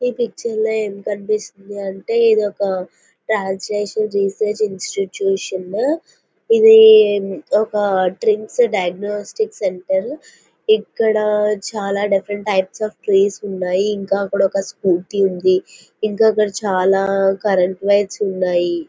ఈ పిక్చర్ లో ఏమి కనిపిస్తోంది అంటే ఇది ఒక రాజేష్ రూపేష్ ఇన్స్టిట్యూషన్ ఇవి ఒక ట్రిమ్స్ డియాగోనోసిస్ సెంటర్ ఇక్కడ చాలా డిఫరెంట్ టైప్స్ ఆఫ్ కీస్ ఉనాయి ఇక అక్కడ ఒక స్కూటీ ఉంది ఇంకా అక్కడ చాలా కరెంటు వైర్స్ ఉన్నాయి.